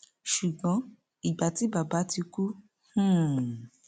ṣùgbọn ìgbà tí bàbá ti kú hḿḿ